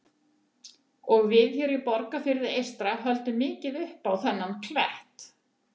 Og við hér á Borgarfirði eystra höldum mikið upp á þennan klett.